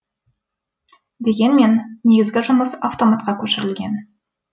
дегенмен негізгі жұмыс автоматқа көшірілген